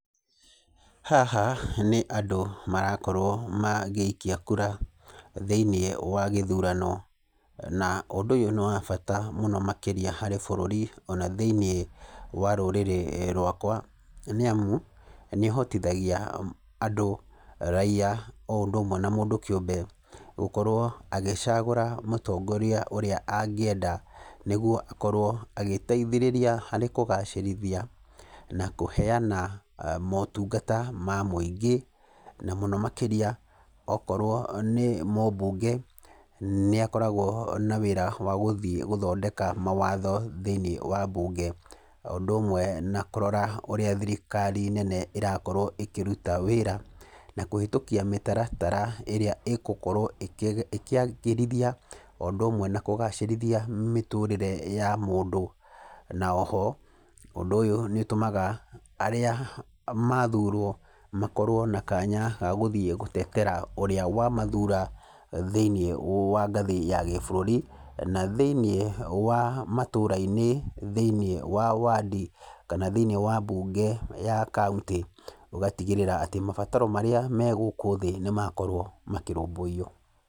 Haha nĩ andũ marakorwo magĩikia kura thĩinĩ wa gĩthurano. Na ũndũ ũyũ nĩwabata mũno makĩria harĩ bũrũri ona thĩinĩ wa rũrĩrĩ rwakwa nĩamu, nĩ ũhotithagia andũ, raiya, o ũndũ ũmwe na mũndũ kĩũmbe gũkorwo agĩcagũra mũtongoria ũrĩa angĩenda. Nĩguo akorwo agĩteithĩrĩra harĩ kũgacĩrithia na kũheyana motungata ma mũingĩ, na mũno makĩria okorwo nĩ mũmbunge, nĩ akoragwo na wĩra wa gũthiĩ gũthondeka mawatho thĩinĩ wa mbunge. O ũndũ ũmwe na kũrora ũrĩa thirikari nene ĩrakorwo ĩkĩruta wĩra na kũhĩtũkia mĩtaratara ĩrĩa ĩgũkorwo ĩkĩagĩrithia o ũndũ ũmwe na kũgacĩrithia mĩtũrĩre ya mũndũ. Na oho nĩtũmaga arĩa mathurwo makorwo na kanya ga gũthiĩ gũtetera ũrĩa wamathura thĩinĩ wa ngathĩ ya gĩbũrũri, na thĩinĩ wa matũrainĩ, thĩinĩ wa wandi, kana thĩinĩ wa mbunge ya kauntĩ, ũgatigĩrĩra atĩ mabataro marĩa me gũkũ thĩ nĩmakorwo makĩrũmbũiywo.